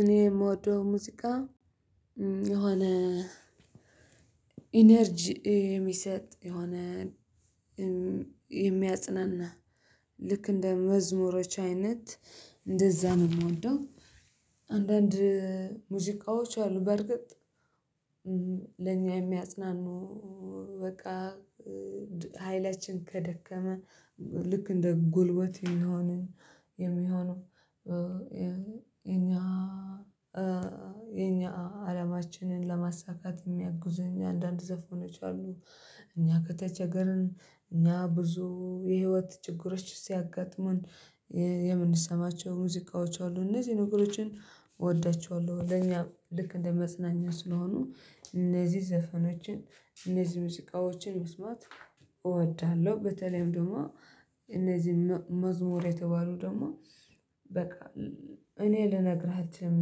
እኔ የምወደው ሙዚቃ የሆነ ኢነርጂ የሚሰጥ የሆነ የሚያጽናና ልክ እንደ መዝሙሮች አይነት እንደዛ ነው የምወደው። አንዳንድ ሙዚቃዎች ያሉ በርግጥ ለኛ የሚያጽናኑ በቃ ሀይላችን ከደከመ ልክ እንደ ጉልበት የሚሆነው የሚሆነው። የኛ የኛ አለማችንን ለማሳካት የሚያግዙ እኛ አንዳንድ ዘፍ ሆነች አሉ። እኛ ከተቸገርን እኛ ብዙ የህይወት ችግሮች ሲያጋጥሙን የምንሰማቸው ሙዚቃዎች አሉ እነዚህን ነገሮችን እወዳቸዋለሁ። ለኛ ልክ እንደ መጽናኛ ስለሆኑ እነዚህ ዘፈኖችን እነዚህ ሙዚቃዎችን መስማት እወድሃለሁ። በተለይም ደግሞ እነዚህ መዝሙር የተባሉ ደግሞ በቃ እኔ ልነግርህ አልችልም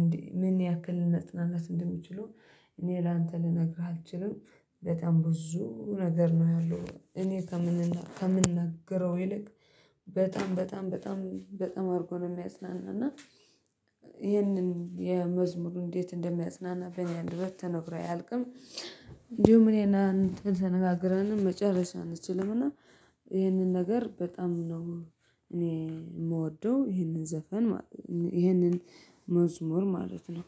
እንዴ? ምን ያክል ነጥናናት እንደምችለው እኔ ላንተ ልነግርህ አልችልም። በጣም ብዙ ነገር ነው ያለው። እኔ ከምንነግረው ይልቅ በጣም በጣም በጣም በጣም አድርጎ ነው የሚያጽናናና። ይህንን የመዝሙሩን እንዴት እንደሚያጽናና በእኔ አንድ አንደበት ተነግሮ አያልቅም። እንዲሁም እኔና እንትን ተነጋግረንም መጨረሻ አንችልም። እና ይህንን ነገር በጣም ነው እኔ የምወደው ይህንን ዘፈን ማለት ነው። ይህንን መዝሙር ማለት ነው